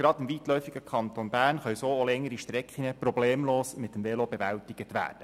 Gerade im weitläufigen Kanton Bern können so auch längere Strecken problemlos mit dem Velo bewältigt werden.